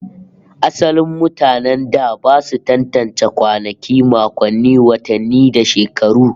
Asalin mutanen da ba su tantance kwanaki, makonni, watanni da shekaru